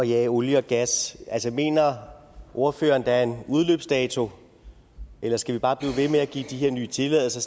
jage olie og gas mener ordføreren at der er en udløbsdato eller skal vi bare blive ved med at give de her nye tilladelser